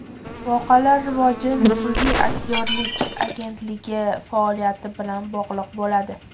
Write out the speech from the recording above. Voqealar rivoji nufuzli aktyorlik agentligi faoliyati bilan bog‘liq bo‘ladi.